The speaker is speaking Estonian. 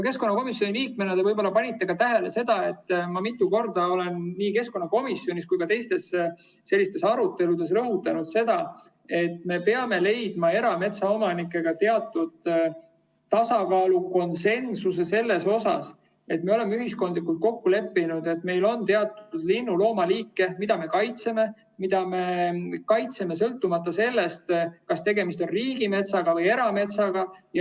Keskkonnakomisjoni liikmena te olete võib-olla tähele pannud, et ma olen mitu korda nii keskkonnakomisjonis kui ka teistes aruteludes rõhutanud, et me peame leidma erametsaomanikega teatud tasakaalu, konsensuse selles, et me oleme ühiskondlikult kokku leppinud, et meil on teatud linnu‑ ja loomaliike, keda me kaitseme, ja sõltumata sellest, kas tegemist on riigimetsa või erametsaga.